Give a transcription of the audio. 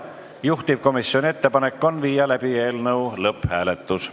Juhtivkomisjoni ettepanek on läbi viia eelnõu lõpphääletus.